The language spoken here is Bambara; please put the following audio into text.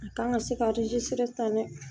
A kan ka se ka ta dɛ